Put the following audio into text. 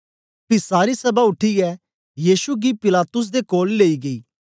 पी सारी सभा उठीयै यीशु गी पिलातुस दे कोल लेई गेई